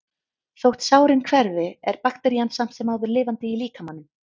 Þótt sárin hverfi er bakterían samt sem áður lifandi í líkamanum.